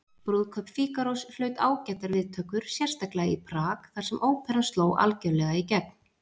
Brúðkaup Fígarós hlaut ágætar viðtökur, sérstaklega í Prag þar sem óperan sló algjörlega í gegn.